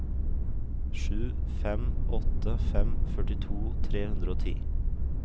sju fem åtte fem førtito tre hundre og ti